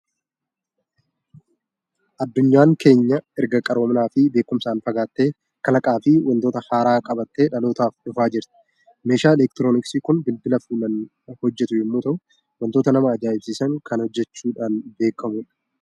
Addunyaan keenya erga qaroominaa fi beekumsaan fagaattee, kalaqaa fi waantota haaraa qabattee dhalootaaf dhufaa jirti. Meeshaan elektirooniksii kun bilbila fuulaan hojjetu yommuu ta'u, waantota nama ajaa'ibsiisan kan hojjechuudhaan beekamu dha!